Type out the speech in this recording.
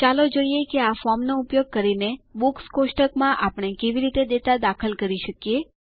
ચાલો જોઈએ આ ફોર્મનો ઉપયોગ કરીને બુક્સ કોષ્ટક માં આપણે કેવી રીતે ડેટા દાખલ કરી શકીએ